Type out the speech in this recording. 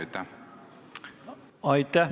Aitäh!